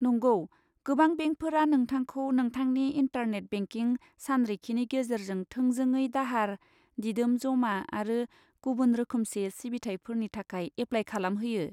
नंगौ, गोबां बेंकफोरा नोंथांखौ नोंथांनि इन्टारनेट बेंकिं सानरिखिनि गेजेरजों थोंजोङै दाहार, दिदोम जमा आरो गुबुन रोखोमसे सिबिथाइफोरनि थाखाय एप्लाय खालामहोयो।